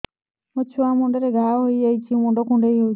ମୋ ଛୁଆ ମୁଣ୍ଡରେ ଘାଆ ହୋଇଯାଇଛି ମୁଣ୍ଡ କୁଣ୍ଡେଇ ହେଉଛି